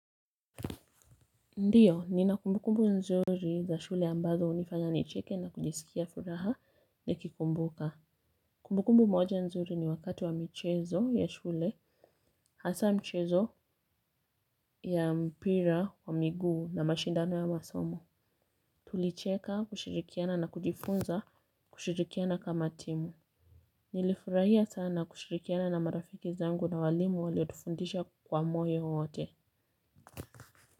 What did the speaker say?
Ndio, nina kumbukumbu nzuri za shule ambazo hunifanya nicheke na kujisikia furaha nikikumbuka. Kumbukumbu moja nzuri ni wakati wa michezo ya shule hasa mchezo ya mpira wa miguu na mashindano ya masomo. Tulicheka, kushirikiana na kujifunza kushirikiana kama timu. Nilifurahia sana kushirikiana na marafiki zangu na walimu waliotufundisha kwa moyo wote.